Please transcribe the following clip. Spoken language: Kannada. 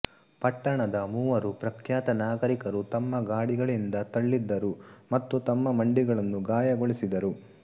ಪಟ್ಟಣದ ಮೂವರು ಪ್ರಖ್ಯಾತ ನಾಗರಿಕರು ತಮ್ಮ ಗಾಡಿಗಳಿಂದ ತಳಿದ್ದರು ಮತ್ತು ತಮ್ಮ ಮಂಡಿಗಳನ್ನು ಗಾಯಗೊಳಿಸಿದರು